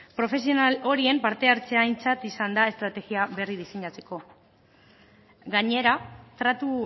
profesional horien parte hartzea aintzat izan da estrategia berri diseinatzeko gainera tratu